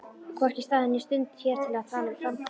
Hvorki staður né stund hér til að tala um framtíðina.